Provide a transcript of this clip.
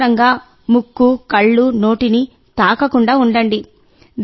అనవసరంగా ముక్కు కళ్ళు నోటిని తాకకుండా ఉండండి